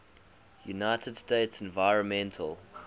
united states environmental